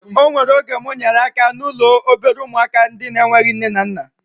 O nwere oge mụ nyere aka n'ụlọ obere ụmụaka ndị na-enweghị nne na nna